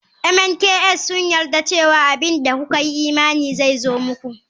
Mnks sun yarda cewa abin da kuka yi imani zai zo muku.